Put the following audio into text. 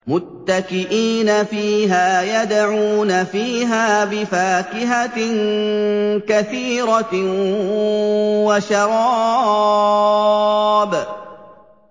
مُتَّكِئِينَ فِيهَا يَدْعُونَ فِيهَا بِفَاكِهَةٍ كَثِيرَةٍ وَشَرَابٍ